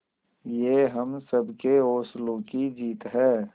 ये हम सबके हौसलों की जीत है